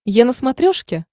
е на смотрешке